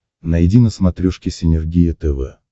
найди на смотрешке синергия тв